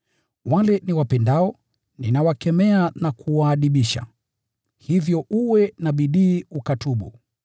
“Wale niwapendao, ninawakemea na kuwaadibisha. Hivyo uwe na bidii ukatubu.